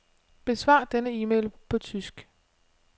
Besvar denne e-mail på tysk.